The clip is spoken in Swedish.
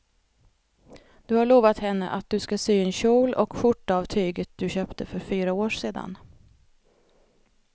Du har lovat henne att du ska sy en kjol och skjorta av tyget du köpte för fyra år sedan.